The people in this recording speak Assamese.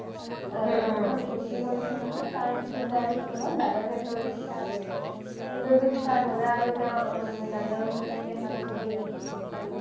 জেথাক ভোৰ্তি কৰিছে নহয় দাদাৰ পেতৰ বিষ start হৈ গ'ল পেটৰ বিষ start হ'লে দাদাৰ মানে কাগজ কৰি দেখালে